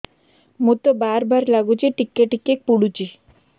ମୁତ ବାର୍ ବାର୍ ଲାଗୁଚି ଟିକେ ଟିକେ ପୁଡୁଚି